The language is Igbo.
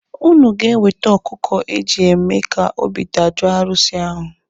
Ụnụ ga-ewete ọkụkụ eji eme ka obi dajoo arụsị ahụ.